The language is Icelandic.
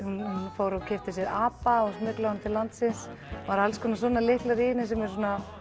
fór og keypti sér apa og smyglaði honum til landsins það eru alls konar svona lyklar í henni hún er